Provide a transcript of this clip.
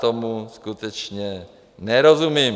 Tomu skutečně nerozumím.